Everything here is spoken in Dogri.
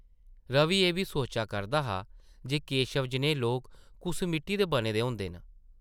रवि एह् बी सोचा करदा हा जे केशव जनेह् लोक कुस मिट्टी दे बने दे होंदे न ।